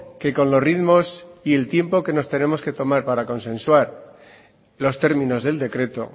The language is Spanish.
que con los ritmos y el tiempo que nos tenemos que tomar para consensuar los términos del decreto